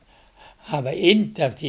hafa yndi af því